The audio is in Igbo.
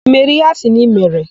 I mere íhé a sị na i mere?